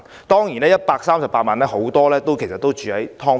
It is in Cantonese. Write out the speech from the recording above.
當然，在這138萬人中，很多人也住在"劏房"。